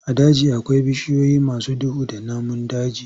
A daji akwai bishiyoyi masu duhu da namun daji.